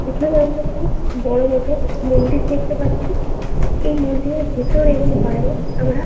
এখানে আমরা একটি বড়ো মতো মন্দির দেখতে পাচ্ছি-ই । এই মন্দিরের ভেতরে এবং বাইরে আমরা-আ --